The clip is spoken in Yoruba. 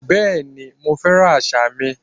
Bẹ́ẹ̀ni, mo fẹ́ràn àṣà mi